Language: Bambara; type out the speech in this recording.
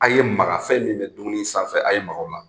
A ye Maka fɛn min bɛ dumuni sanfɛ, a ye Maka o la.